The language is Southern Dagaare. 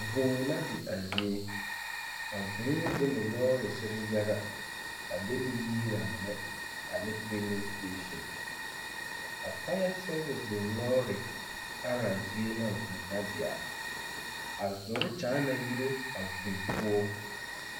Vūū la di a ziɛ ,vūū di ne lɔɔresere yaŋa,a di ne yiira mine ane fiili seeseŋ a faaya seeviŋ dem lɔɔre areŋ zie a vūū na di,a zoro nyaana yire a vūū poɔ.